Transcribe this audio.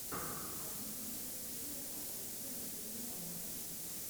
найди список фильмов с актрисой мишель монахэн